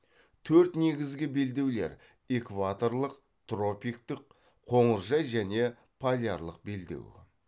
төрт негізгі белдеулер экваторлық тропиктік қоңыржай және полярлық белдеу